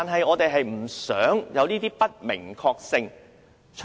我們只是不希望有不明確性出現。